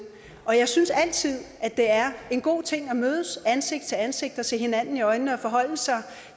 og jeg synes altid at det er en god ting at mødes ansigt til ansigt og se hinanden i øjnene og forholde sig